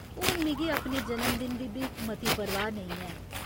हून मिगी अपने जन्मदिन दी बी मती परवाह् नेईं ऐ।